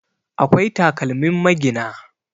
akwai takalmin magina